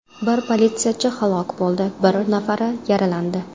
Bir politsiyachi halok bo‘ldi, bir nafari yaralandi.